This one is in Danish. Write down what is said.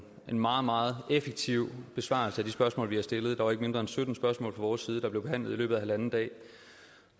meget meget effektiv besvarelse af de spørgsmål vi har stillet der var ikke mindre end sytten spørgsmål fra vores side der blev behandlet i løbet af halvanden dag